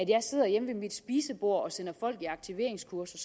jeg sidder hjemme ved mit spisebord og sender folk aktiveringskursus